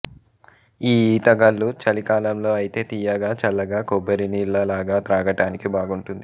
ఈ ఈత కల్లు చలి కాలంలో ఐతే తియ్యగా చల్లగా కొబ్బరి నీళ్ళ లాగా త్రాగటానికి బాగుంటుంది